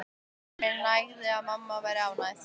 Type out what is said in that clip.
Mér nægði að mamma væri ánægð.